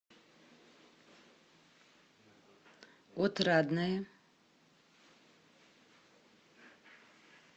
отрадное